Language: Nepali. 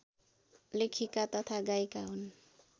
लेखिका तथा गायिका हुन्